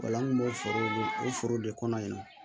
O la an kun b'o foro de kɔnɔ yan